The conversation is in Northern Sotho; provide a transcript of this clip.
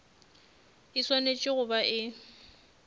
e swanetše go ba e